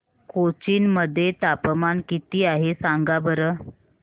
कोचीन मध्ये तापमान किती आहे सांगा बरं